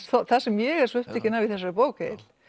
það sem ég er svo upptekin af í þessari bók Egill